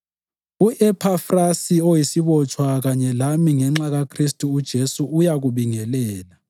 U-Ephafrasi oyisibotshwa kanye lami ngenxa kaKhristu uJesu, uyakubingelela.